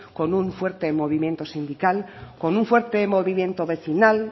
con un fuerte movimiento sindical con un fuerte movimiento vecinal